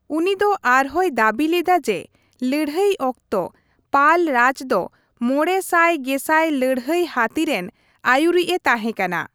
ᱩᱱᱤ ᱫᱚ ᱟᱨᱦᱚᱸᱭ ᱫᱟᱹᱵᱤ ᱞᱮᱫᱟ ᱡᱮ ᱞᱟᱹᱲᱦᱟᱹᱭ ᱚᱠᱛᱚ ᱯᱟᱞ ᱨᱟᱡᱽ ᱫᱚ ᱢᱚᱲᱮ ᱥᱟᱭ ᱜᱮᱥᱟᱭ ᱞᱟᱹᱲᱦᱟᱹᱭ ᱦᱟᱹᱛᱤ ᱨᱮᱱ ᱟᱹᱭᱩᱨᱤᱡᱼᱮ ᱛᱟᱦᱮᱸᱠᱟᱱᱟ ᱾